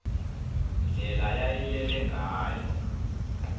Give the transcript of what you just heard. ndlela yayilele ngayo